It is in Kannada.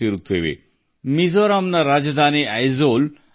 ಇದಕ್ಕೆ ಒಂದು ಉದಾಹರಣೆಯೆಂದರೆ ಮಿಜೋರಾಂನ ರಾಜಧಾನಿ ಐಜ್ವಾಲ್